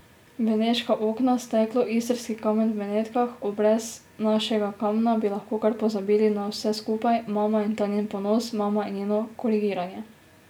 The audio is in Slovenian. Beneška okna, steklo, istrski kamen v Benetkah, o, brez našega kamna bi lahko kar pozabili na vse skupaj, mama in ta njen ponos, mama in njeno korigiranje.